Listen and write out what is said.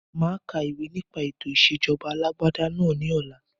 Máa ka ìwé nipe ètò ìsèjọba alàgbàda náà ni ọ̀la